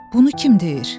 Bunu kim deyir?